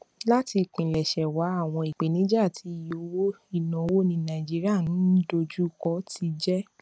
láti ìpilẹṣẹ wá àwọn ìpèníjà tí iye owó ìnáwó ní nàìjíríà ń ń dojú kọ ti jẹ